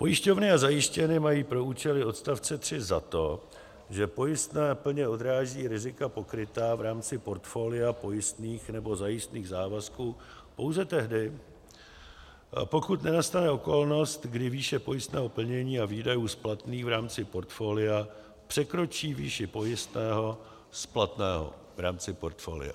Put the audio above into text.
Pojišťovny a zajišťovny mají pro účely odstavce 3 za to, že pojistné plně odráží rizika pokrytá v rámci portfolia pojistných nebo zajistných závazků pouze tehdy, pokud nenastane okolnost, kdy výše pojistného plnění a výdajů splatných v rámci portfolia překročí výši pojistného splatného v rámci portfolia.